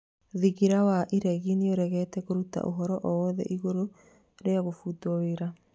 Thingira wa iregi nĩregete kũruta ũhoro oro wothe igũrũ rĩa kũbutwo wĩra